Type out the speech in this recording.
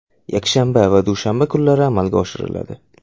yakshanba va dushanba kunlari amalga oshiriladi.